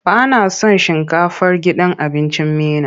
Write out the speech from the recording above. Ba na son shinkafar gidan abincin Meena.